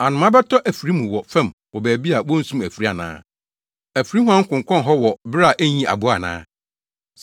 Anomaa bɛtɔ afiri mu wɔ fam wɔ baabi a wonsum afiri ana? Afiri huan konkɔn hɔ wɔ bere a enyii aboa ana?